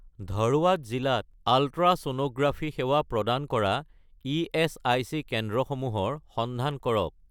ধৰৱাদ জিলাত আলট্ৰাছ'ন'গ্ৰাফি সেৱা প্ৰদান কৰা ইএচআইচি কেন্দ্ৰসমূহৰ সন্ধান কৰক